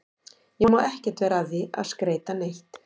Ég má ekkert vera að því að skreyta neitt.